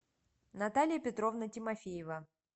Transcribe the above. наталья петровна тимофеева